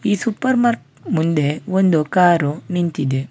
ಈ ಸೂಪರ್ಮಾರ್ಟ್ ಮುಂದೆ ಒಂದು ಕಾರು ನಿಂತಿದೆ.